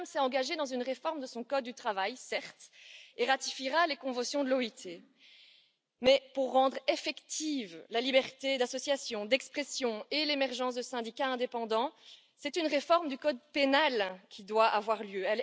Le Viêt Nam s'est engagé dans une réforme de son code du travail, certes, et ratifiera les conventions de l'OIT, mais pour rendre effectives la liberté d'association et d'expression et l'émergence de syndicats indépendants, c'est une réforme du code pénal qui doit avoir lieu